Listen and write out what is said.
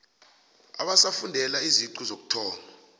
abasafundela iziqu zokuthoma